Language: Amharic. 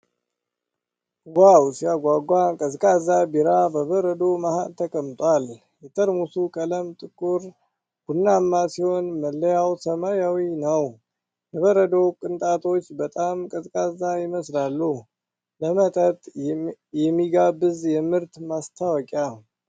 ዋው ሲያጓጓ! ቀዝቃዛ ቢራ በበረዶ መሀል ተቀምጧል። የጠርሙሱ ቀለም ጥቁር ቡናማ ሲሆን መለያው ሰማያዊ ነው። የበረዶው ቅንጣቶች በጣም ቀዝቃዛ ይመስላሉ። ለመጠጥ የሚጋብዝ የምርት ማስታወቂያ።